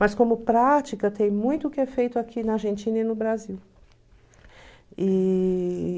Mas como prática, tem muito que é feito aqui na Argentina e no Brasil. E...